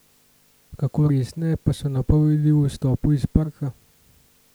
Kako resne pa so napovedi o izstopu iz parka?